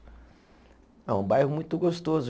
É um bairro muito gostoso.